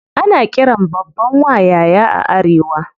Ana qiran babban wa "yaya" a arewa.